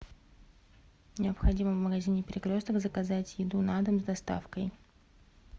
необходимо в магазине перекресток заказать еду на дом с доставкой